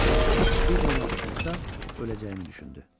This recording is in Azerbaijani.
Bir də ona toxunsa, öləcəyini düşündü.